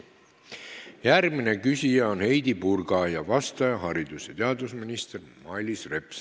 Järgmine küsija on Heidy Purga ning vastaja haridus- ja teadusminister Mailis Reps.